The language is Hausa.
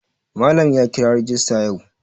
Malam ya kira rajista yau.